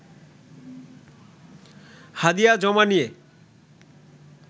হাদিয়া জমা নিয়ে